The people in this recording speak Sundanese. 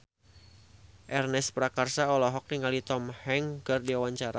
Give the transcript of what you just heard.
Ernest Prakasa olohok ningali Tom Hanks keur diwawancara